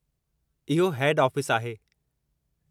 इहो हेड ऑफ़िसु आहे।